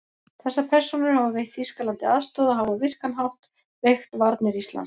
Þessar persónur hafa veitt Þýskalandi aðstoð og hafa á virkan hátt veikt varnir Íslands.